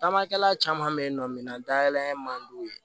Tamakɛla caman bɛ yen nɔ minan dayɛlɛ man di u ye